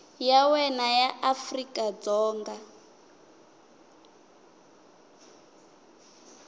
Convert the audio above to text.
ya wena ya afrika dzonga